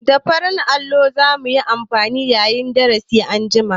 Da farin allo za mu yi amfani yayin darasi anjima.